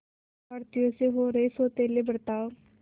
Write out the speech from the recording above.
भारतीयों से हो रहे सौतेले बर्ताव